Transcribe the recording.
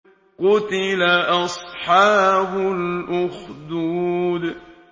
قُتِلَ أَصْحَابُ الْأُخْدُودِ